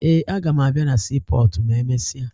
Ee, aga m abịa na siipọọtụ ma emesịa